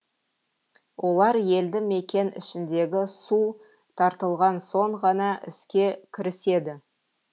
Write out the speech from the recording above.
олар елді мекен ішіндегі су тартылған соң ғана іске кіріседі